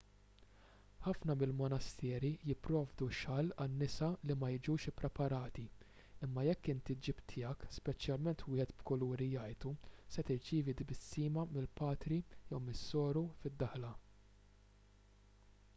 ħafna mill-monasteri jipprovdu xall għan-nisa li ma jiġux ippreparati imma jekk inti ġġib tiegħek speċjalment wieħed b'kuluri jgħajtu se tirċievi tbissima mill-patri jew mis-soru fid-daħla